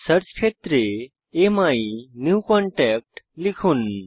search ক্ষেত্রে অ্যামিনিউকনট্যাক্ট লিখুন